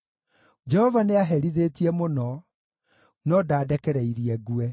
Jehova nĩaherithĩtie mũno, no ndandekereirie ngue.